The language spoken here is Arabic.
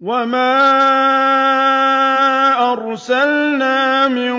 وَمَا أَرْسَلْنَا مِن